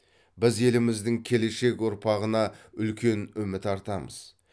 біз еліміздің келешек ұрпағына үлкен үміт артамыз